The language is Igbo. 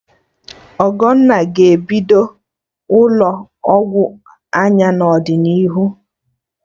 Ogonna ga-ebido ụlọ ọgwụ anya n'ọdịnihu